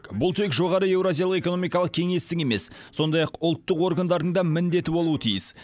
бұл тек жоғары еуразиялық экономикалық кеңестің емес сондай ақ ұлттық органдардың да міндеті болуы тиіс